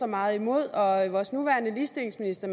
meget imod og vores nuværende ligestillingsminister